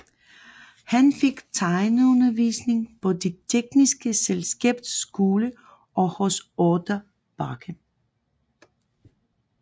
Han fik tegneundervisning på Det tekniske Selskabs Skole og hos Otto Bache